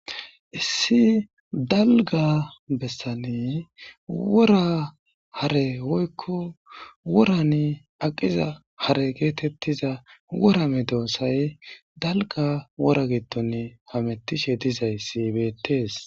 Issi dalgga bessani wora hare woykko worani aqqiza hare geettetiza wora medossay dalgga wora giddoni hamettishe dizayssi beettes.